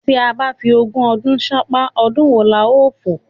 Tí a bá fi ogún ọdún ṣánpá, ọdún wo la ó fò?